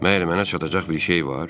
Məgər mənə çatacaq bir şey var?